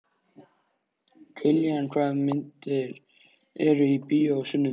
Kiljan, hvaða myndir eru í bíó á sunnudaginn?